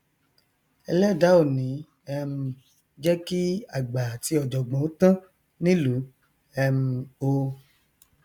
ẹlẹdàá ò ní um jẹ kí àgbà àti ọjọgbọn ó tán nílùú um o